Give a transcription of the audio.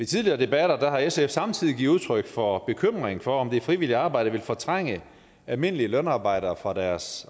tidligere debatter har sf samtidig givet udtryk for bekymring for at det frivillige arbejde vil fortrænge almindelige lønarbejdere fra deres